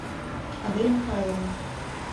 адель михайловна